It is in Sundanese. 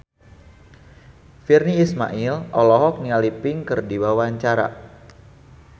Virnie Ismail olohok ningali Pink keur diwawancara